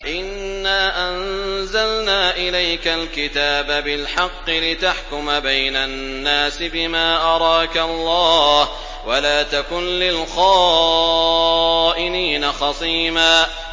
إِنَّا أَنزَلْنَا إِلَيْكَ الْكِتَابَ بِالْحَقِّ لِتَحْكُمَ بَيْنَ النَّاسِ بِمَا أَرَاكَ اللَّهُ ۚ وَلَا تَكُن لِّلْخَائِنِينَ خَصِيمًا